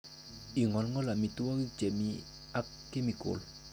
Ingolngol amitwogik chemi ak chemical